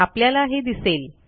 आपल्याला हे दिसेल